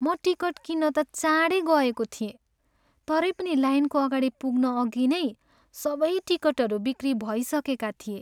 म टिकट किन्न त चाँडै गएको थिएँ तरै पनि लाइनको अगाडि पुग्नअघि नै सबै टिकटहरू बिक्री भइसकेका थिए।